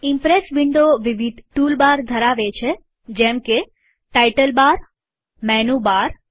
Impress window વિવિધ tool bar ધરાવે છે જેમકેટાઈટલ બારમેનુ બાર